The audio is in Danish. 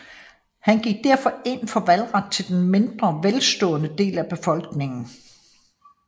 Han gik derfor ind for valgret til den mindre velstående del af befolkningen